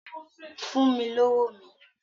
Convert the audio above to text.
Fún mi lówó mi!